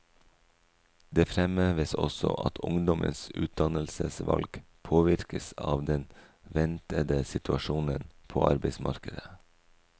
Det fremheves også at ungdommens utdannelsesvalg påvirkes av den ventede situasjonen på arbeidsmarkedet.